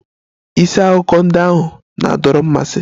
Isi akụkọ ndị ahụ na-adọrọ mmasị.